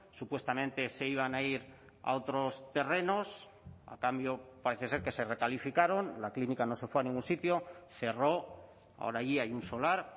supuestamente se iban a ir a otros terrenos a cambio parece ser que se recalificaron la clínica no se fue a ningún sitio cerró ahora allí hay un solar